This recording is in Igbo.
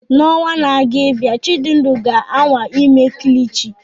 N'ọnwa na-abịa, Chijindu ga-anwa ime kilichi.